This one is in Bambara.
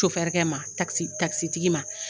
Sofɛrɛkɛ ma takisitigi ma